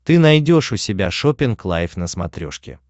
ты найдешь у себя шоппинг лайв на смотрешке